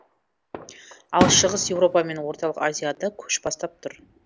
ал шығыс еуропа мен орталық азияда көш бастап тұр